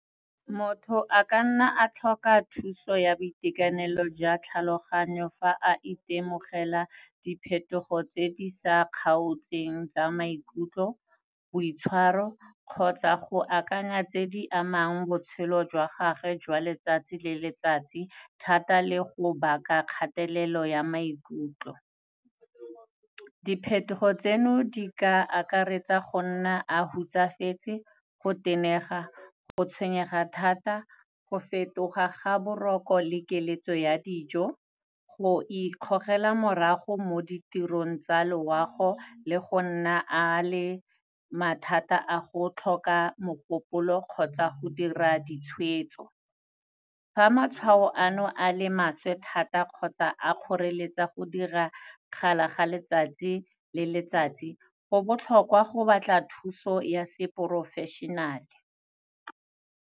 Motho a ka nna a tlhoka thuso ya boitekanelo jwa tlhaloganyo, fa a itemogela diphetogo tse di sa kgaotseng tsa maikutlo, boitshwaro, kgotsa go akanya tse di amang botshelo jwa gage jwa letsatsi le letsatsi, thata le go baka kgatelelo ya maikutlo. Diphetogo tseno di ka akaretsa go nna a hutsafetse, go tenega, go tshwenyega thata, go fetoga ga boroko le keletso ya dijo, go ikgogela morago mo ditirong tsa loago le go nna a le mathata a go tlhoka mogopolo kgotsa go dira ditshwetso. Fa matshwao ano a le maswe thata kgotsa a kgoreletsa go dira kgala ga letsatsi le letsatsi, go botlhokwa go batla thuso ya seporofešenale.